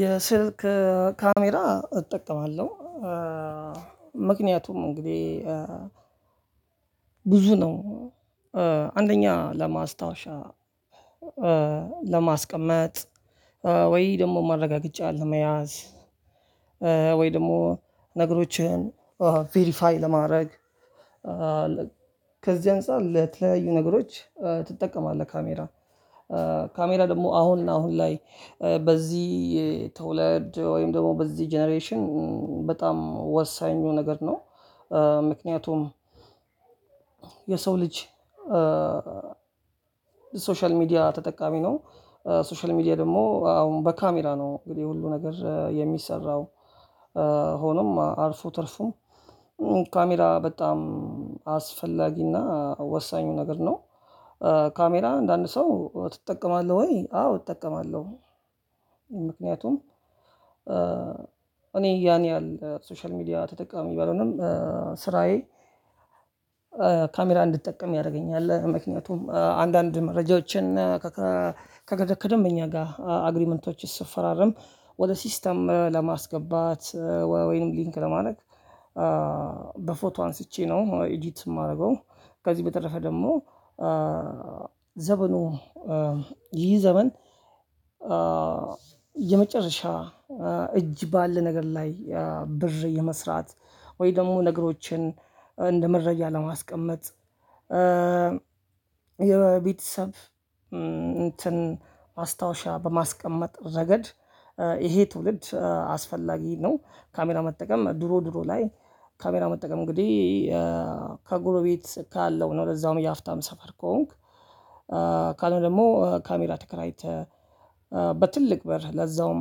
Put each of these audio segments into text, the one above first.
የስልክ ካሜራ እጠቀማለሁ። ምክንያቱም እንግዲህ ብዙ ነው አንደኛ ለማስታወሻ ለማስቀመጥ ወይ ደግሞ ማረጋገጫ ለመያዝ ወይ ደግሞ ነገሮችን ቬሪፋይ ለማድረግ ከዚህ አንፃር ለተለያዩ ነገሮች ትጠቀማለህ ካሜራ። ካሜራ ደግሞ አሁን አሁን ላይ በዚህ ትውልድ ወይም ደግሞ በዚ ጀነሬሽን በጣም ወሳኙ ነገር ነው። ምክንያቱም የሰው ልጅ ሶሻል ሚዲያ ተጠቃሚ ነው። ሶሻል ሚዲያ ደግሞ አሁን በካሜራ ነው እንግዲህ ሁሉ ነገር የሚሰራው ሆኖም አልፎ ተርፎ ካሜራ በጣም አስፈላጊና ወሳኙ ነገር ነው። ካሜራ አንዳንድ ሰው ትጠቀማለህ ወይ አዎ አጠቀማለሁ። ምክንያቱም እኔ ያን ያህል ሶሻል ሚዲያ ተጠቃሚ ባልሆንም ስራዬ ካሜራ እንድጠቀም ያደርገኛል ምክንያቱም አንዳንድ መረጃዎችን ከከከደ ከደምበኛ ጋር አግሪመንቶችን ስፈራረም ወደ ሲስተም ለማስገባት ወይንም ሊንክ ለማድረግ በፎቶ አንስቼ ነው ኢዲት የማረገው። ከዚህ በተረፈ ደግሞ ዘመኑ ይህ ዘመን የመጨረሻ እጅ ባለ ነገር ላይ ብር የመስራት ወይ ደግሞ ነገሮችን እንደ መረጃ ለማስቀመጥ። የቤተሰብ እንትን ማስታወሻ በማስቀመጥ ረገድ ይሄ ትውልድ አስፈላጊ ነው። ካሜራ መጠቀም ድሮ ድሮ ላይ ካሜራ መጠቀም እንግዲህ ከጎረቤት ካለው ነው ለዛውም የሀፍታም ሰፈር ከሆንክ። ካልሆነ ደግሞ ካሜራ ተከራይተህ በትልቅ ብር ለዛውም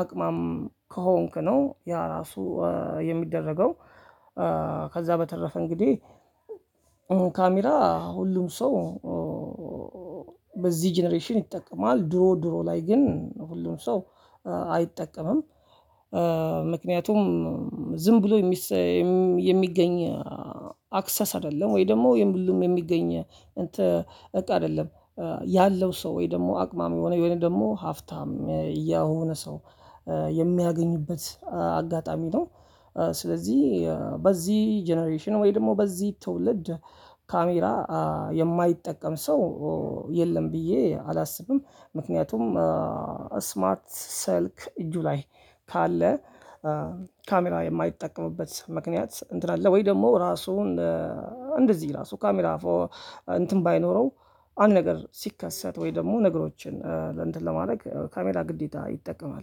አቅማም ከሆንክ ነው ያ ራሱ የሚደረገው። ከዛ በተረፈ እንግዲህ ካሜራ ሁሉም ሰው በዚህ ጀነሬሽን ይጠቀማል ድሮ ድሮ ላይ ግን ሁሉም ሰው አይጠቀምም። ምክንያቱም ዝም ብሎ የሚሰየም የሚገኝ አክሰስ አይደለም ወይ ደግሞ የምሉም የሚገኝ እንትን እቃ አይደለም። ያለው ሰው ወይ ደግሞ አቅማሚ የሆነ የሆነ ደግሞ ሀፍታም ያ የሆነ ሰው የሚያገኝበት አጋጣሚ ነው። ስለዚህ በዚህ ጀነሬሽን ወይ ደግሞ በዚህ ትውልድ ካሜራ የማይጠቀም ሰው የለም ብዬ አላስብም። ምክንያቱም ስማርት ስልክ እጁ ላይ ካለ ካሜራ የማይጠቀምበት ምክንያት እንትን አለ ወይ ደግሞ ራሱን እንደዚህ ራሱ ካሜራ እንትን ባይኖረው አንድ ነገር ሲከሰት ወይ ደግሞ ነገሮችን እንትን ለማድረግ ካሜራ ግዴታ ይጠቀማል